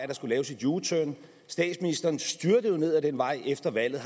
der skulle laves et u turn statsministeren styrtede ned ad den vej efter valget